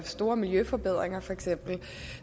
store miljøforbedringer for eksempel